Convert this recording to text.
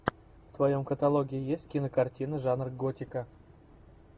в твоем каталоге есть кинокартина жанр готика